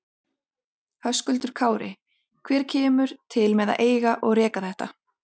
Höskuldur Kári: Hver kemur til með að eiga og reka þetta?